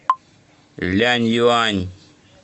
ляньюань